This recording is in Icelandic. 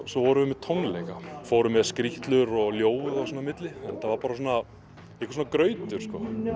svo vorum við með tónleika fórum með skrýtlur og ljóð og svona á milli þetta var bara einhver svona grautur